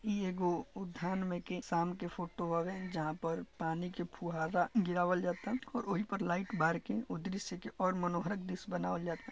इ एगो उद्यान में के शाम के फोटो आवे जहाँ पर पानी के फुहारा गिरावल जाता और वही पे लाइट बार के उ दृश्य के और मनमोहक दृश्य बनावल जाता।